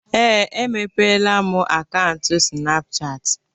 Ee, emepeela m akaụntụ Sịnapụchatị.